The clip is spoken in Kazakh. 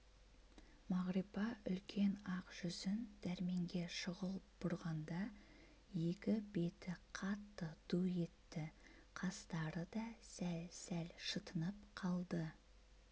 мағрипа үлкен ақ жүзін дәрменге шұғыл бұрғанда екі беті қатты ду етті қастары да сәл-сәл шытынып қалды